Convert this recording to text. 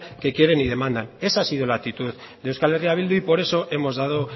que quieren y demandan esa ha sido la actitud de euskal herria bildu y por eso hemos dado